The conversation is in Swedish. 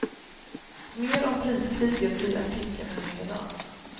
Mer om priskriget i artikeln här nedan.